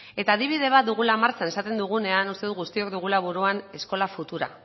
eta adibide bat dugula martxan esaten dugunean uste dut guztiok dugula buruan eskola futura